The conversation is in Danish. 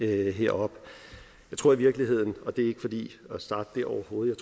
heroppe jeg tror i virkeligheden og det er overhovedet